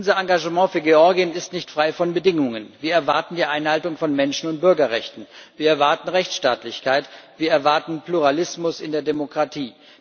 Unser Engagement für Georgien ist nicht frei von Bedingungen. Wir erwarten die Einhaltung von Menschen und Bürgerrechten, wir erwarten Rechtsstaatlichkeit, wir erwarten Pluralismus in der Demokratie.